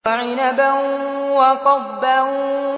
وَعِنَبًا وَقَضْبًا